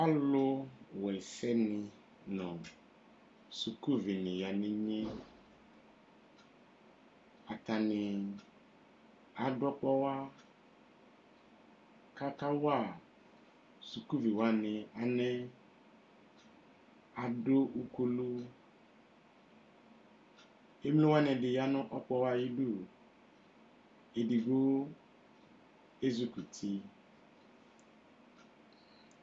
Alʋwɛsɛ ni nʋ sukuvi ni ya nʋ inye Atani adʋ ɔkpɔɣa kakawa sukuvi wa ni alɛ kʋ adʋ ukulu Emlowa di ni ya nʋ ɔkpɔɣa yɛ ayidu Edigbo ezukuti